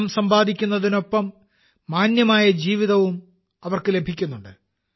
പണം സമ്പാദിക്കുന്നതിനൊപ്പം മാന്യമായ ജീവിതവും അവർക്ക് ലഭിക്കുന്നുണ്ട്